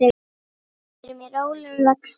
Við erum í rólegum vexti.